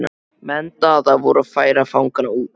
Menn Daða voru að færa fangana út.